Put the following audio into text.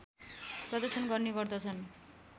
प्रदर्शन गर्ने गर्दछन्